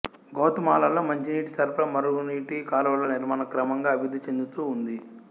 గౌతమాలాలో మంచినీటి సరఫరా మురుగునీటి కాలువల నిర్మాణం క్రమంగా అభివృద్ధి చెందుతూ ఉంది